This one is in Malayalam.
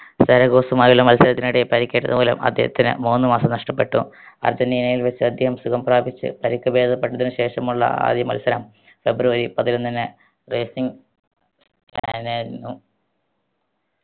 റെഗോസുമായുള്ള മത്സരത്തിനിടയിൽ പരിക്കേറ്റതുമൂലം അദ്ദേഹത്തിന് മൂന്ന് മാസം നഷ്ട്ടപ്പെട്ടു അർജന്റീനയിൽ വെച്ച് അദ്ദേഹം സുഖം പ്രാപിച്ച് പരിക്ക് ബേദപ്പെട്ടതിന് ശേഷമുള്ള ആദ്യ മത്സരം ഫെബ്രുവരി പതിനൊന്നിന് racing